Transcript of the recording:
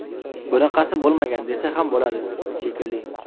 Bunaqasi bo‘lmagan, desa ham bo‘ladi, shekilli.